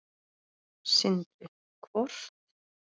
Sindri: Hvort?